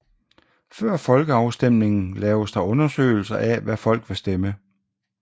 Før folkeafstemningen laves der undersøgelser af hvad folk vil stemme